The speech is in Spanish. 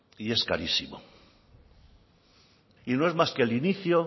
y es carísimo y no es más que el inicio